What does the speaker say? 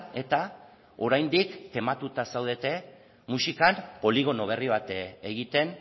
eta oraindik tematuta zaudete muxikan poligono berri bat egiten